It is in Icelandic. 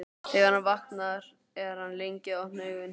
Þegar hann vaknar er hann lengi að opna augun.